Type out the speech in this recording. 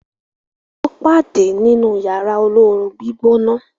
wón pade nínú Yàrá olóoru-gbígbóná.